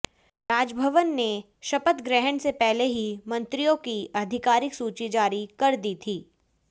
राजभवन ने शपथ ग्रहण से पहले ही मंत्रियों की आधिकारिक सूची जारी कर दी थी